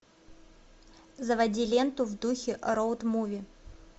заводи ленту в духе роуд муви